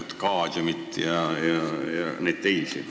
Oskad sa öelda?